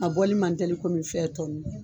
A bɔli man tɛli kɔmi fɛn tɔ nu.